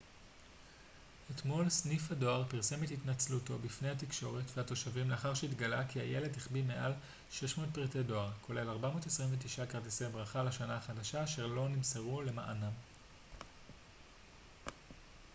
אתמול סניף הדואר פרסם את התנצלותו בפני התקשורת והתושבים לאחר שהתגלה כי הילד החביא מעל 600 פריטי דואר כולל 429 כרטיסי ברכה לשנה החדשה אשר לא נמסרו למענם